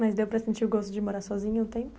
Mas deu para sentir o gosto de morar sozinha um tempo?